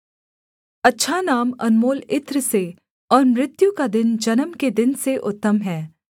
अच्छा नाम अनमोल इत्र से और मृत्यु का दिन जन्म के दिन से उत्तम है